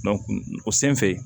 o sen fɛ